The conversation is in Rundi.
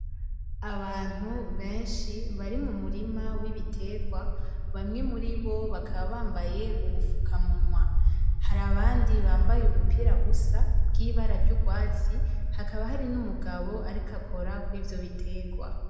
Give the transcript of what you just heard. Abantu benshi bari mu murima w'ibiterwa, bamwe muri bo bakaba bambaye udupfukamunwa. Hari abandi bambaye ubupira busa bw'ibara ry'urwatsi, hakaba hari n'umugabo ariko akora kuri ivyo buterwa.